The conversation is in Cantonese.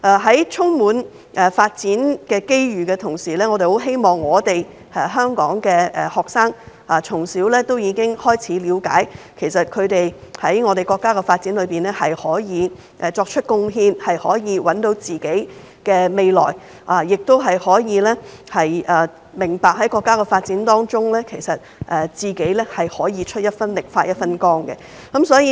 在充滿發展機遇的同時，我們希望香港學生可以從小了解他們能為國家發展作出貢獻，找到自己的未來，並明白在國家的發展中，可以出一分力、發一分光。